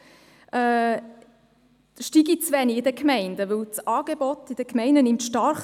Ich staune ein wenig, wenn er sagt, das Angebot in den Gemeinden steige zu wenig.